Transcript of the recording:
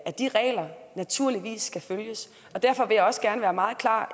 at de regler naturligvis skal følges derfor vil jeg også gerne være meget klar